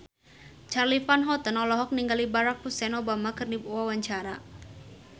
Charly Van Houten olohok ningali Barack Hussein Obama keur diwawancara